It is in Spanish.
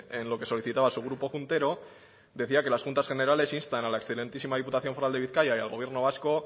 en lo que solicitaba su grupo juntero decía que las juntas generales instan a la excelentísima diputación foral de bizkaia y al gobierno vasco